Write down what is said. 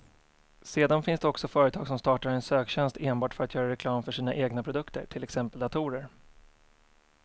Sedan finns det också företag som startar en söktjänst enbart för att göra reklam för sina egna produkter, till exempel datorer.